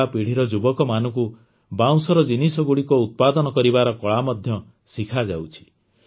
ନୂଆପିଢ଼ିର ଯୁବକମାନଙ୍କୁ ବାଉଁଶର ଜିନିଷଗୁଡ଼ିକ ଉତ୍ପାଦନ କରିବାର କଳା ମଧ୍ୟ ଶିଖାଯାଉଛି